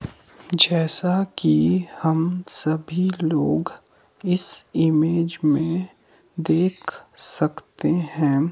जैसा कि हम सभी लोग इस इमेज में देख सकते हैं।